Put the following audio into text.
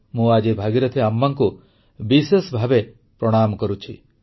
ମୁଁ ଆଜି ଭାଗୀରଥି ଆମ୍ମାଙ୍କୁ ବିଶେଷ ଭାବେ ପ୍ରଣାମ କରୁଛି